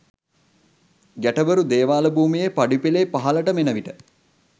ගැටබරු දේවාල භූමියේ පඩිපෙළේ පහළටම එන විට